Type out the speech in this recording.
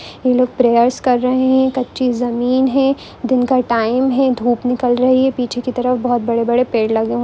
ये लोग प्रेयर्स कर रहे है कच्ची जमीन है दिन का टाइम है धूप निकल निकल रही है पीछे के तरफ बहुत बड़े बड़े पेड़ लगे हुए है।